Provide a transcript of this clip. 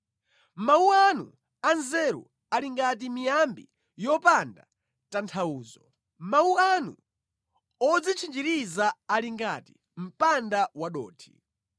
Mawu anu anzeru ali ngati miyambi yopanda tanthauzo; mawu anu odzitchinjirizira ali ngati mpanda wadothi.